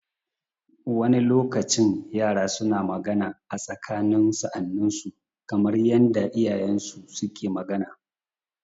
Wani lokacin yara suna magana a tsakanin sa'anninsu kamar yanda iyayensu suke magana.